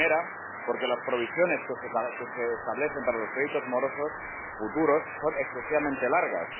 La primera, porque las provisiones que se establecen para los créditos morosos futuros son excesivamente largas.